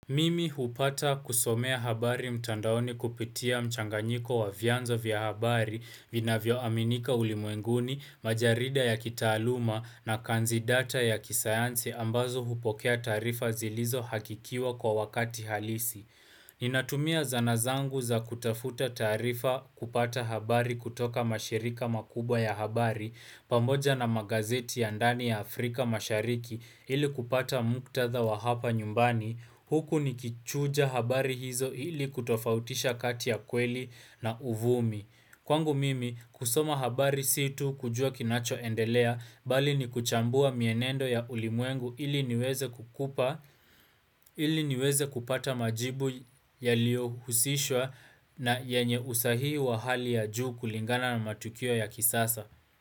Mimi hupata kusomea habari mtandaoni kupitia mchanganyiko wa vyanzo vya habari vina vyo aminika ulimwenguni, majarida ya kitaaluma na kanzidata ya kisayansi ambazo hupokea taarifa zilizo hakikiwa kwa wakati halisi. Ninatumia zanazangu za kutafuta taarifa kupata habari kutoka mashirika makubwa ya habari pamoja na magazeti ya ndani ya Afrika mashariki ili kupata muktatha wa hapa nyumbani huku ni kichuja habari hizo ili kutofautisha kati ya kweli na uvumi. Kwangu mimi kusoma habari situ kujua kinacho endelea bali ni kuchambua mienendo ya ulimuengu ili niweze kukupa ili niweze kupata majibu ya lio husishwa na yenye usahii wa hali ya juu kulingana na matukio ya kisasa.